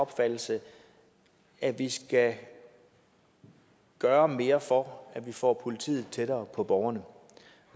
opfattelse at vi skal gøre mere for at vi får politiet tættere på borgerne og